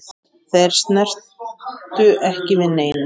Þeir snertu ekki við neinu.